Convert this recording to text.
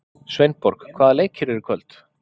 Sveinborg, hvaða leikir eru í kvöld?